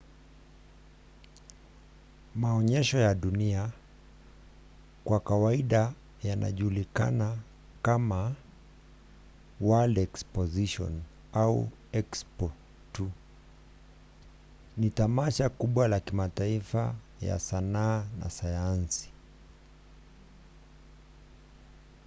maonyesho ya dunia kwa kawaida yanajulikana kama world exposition au expo tu ni tamasha kubwa ya kimataifa ya sanaa na sayansi